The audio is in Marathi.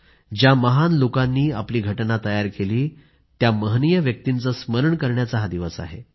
ज्या महान लोकांनी आपली राज्यघटना तयार केली त्या महनीय व्यक्तींचे स्मरण करण्याचा हा दिवस आहे